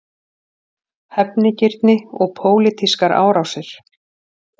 Hefnigirni og pólitískar árásir